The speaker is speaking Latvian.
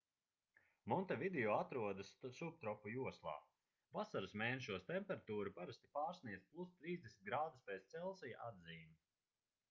montevideo atrodas subtropu joslā; vasaras mēnešos temperatūra parasti pārsniedz +30 °c atzīmi